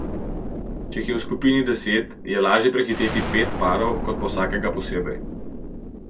Če jih je v skupini deset, je lažje prehiteti pet parov kot pa vsakega posebej.